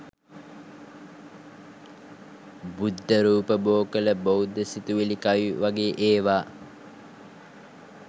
බුද්ද රූප බො කොළ බෞද්ධ සිතිවිලි කවි වගේ ඒවා